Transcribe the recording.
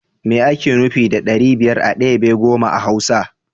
Me ake nufi da ɗari biyar a debe goma a hausa?